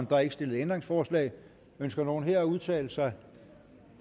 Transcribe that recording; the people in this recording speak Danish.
der er ikke stillet ændringsforslag ønsker nogen at udtale sig